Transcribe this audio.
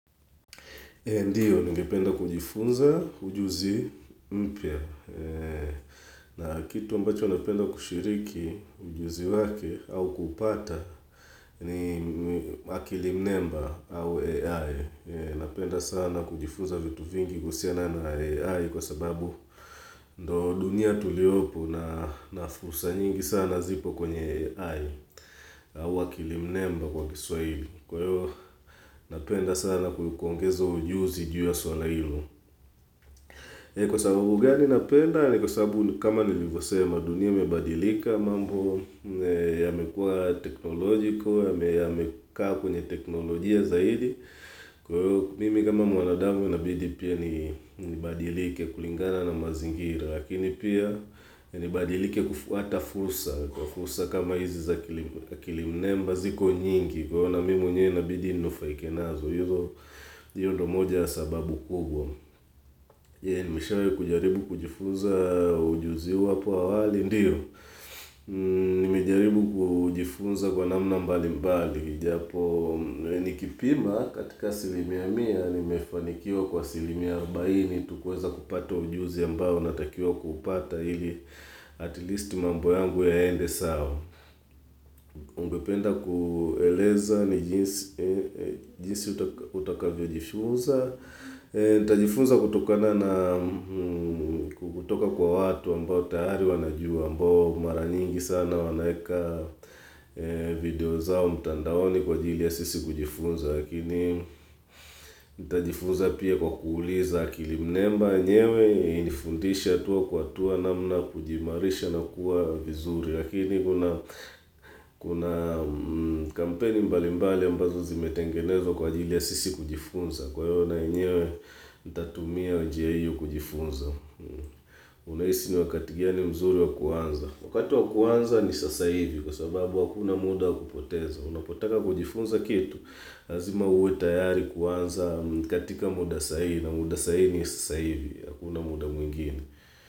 Ndiyo, ningependa kujifunza ujuzi mpya. Na kitu ambacho napenda kushiriki ujuzi wake au kupata ni ni akilimnemba au AI. Napenda sana kujifunza vitu vingi kuhusiana na AI kwa sababu ndiyo dunia tuliyopo na nafursa nyingi sana zipo kwenye AI. Au akilimnemba kwa kiswahili. Kwa hiyo napenda sana kuangeza ujuzi juu ya suala hilo. Kwa sababu gani unapenda ni kwa sababu kama nilivyosema dunia imebadilika mambo ya mekua teknolojiko ya mekaa kwenye teknolojia zaidi. Kwa hiyo mimi kama mwanadamu inabidi pia ni nibadilike kulingana na mazingira lakini pia nibadilike kufuata fursa kwa fursa kama hizi za kilimnamba ziko nyingi. Kwa hiyo mimi mwenye inabidi nufaike nazo, hizo hiyo ndiyo moja ya sababu kubwa. Nimeshawahi kujaribu kujifunza ujuzi huo hapo awali, ndiyo. Nimejaribu kujifunza kwa namna mbali mbali. Ijapo nikipima katika asilimia mia, nimefanikiwa kwa silimia arobaini tu kuweza kupata ujuzi ambayo unatakiwa kuupata ili at least mambo yangu yaende sawa Ungependa kueleza ni jinsi jinsi utakavyo jifunza. Nitajifunza kutoka na kutoka kwa watu ambao tayari wanajua ambao mara nyingi sana wanaweka video zao mtandaoni kwa jili ya sisi kujifunza. Lakini nitajifunza pia kwa kuuliza akilimnamba nyewe inanifundisha hatua kwa hatua namna kujiimarisha na kuwa vizuri. Lakini kuna kuna kampeni mbalimbali ambazo zimetengenezwa kwa ajili ya sisi kujifunza. Kwa hiyo nayewe, nitatumia njia hiyo kujifunza. Unahisi ni wakati gani mzuri wa kuanza? Wakati wa kuanza ni sasa hivi kwa sababu wakuna muda kupoteza. Unapotaka kujifunza kitu, lazima uwe tayari kuanza katika muda saa hiii na muda saa hii ni sasa hivi hakuna muda mwingine.